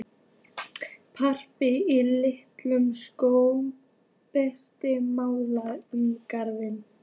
Plampið í ilskónum bergmálaði um gangana.